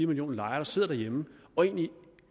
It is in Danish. millioner lejere der sidder hjemme og egentlig